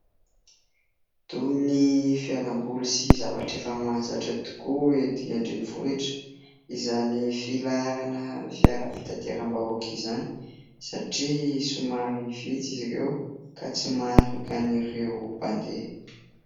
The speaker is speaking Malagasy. Toy ny fialamboly sy zavatra efa mahazatra tokoa ety an-drenivohitra, izany filarana fiara fitateram-bahoaka izany satria somary vitsy izy ireo, ka tsy maharaka ireo mpandeha.